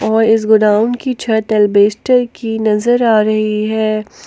और इस गोडाउन की छत एल्बेस्टर की नजर आ रही है।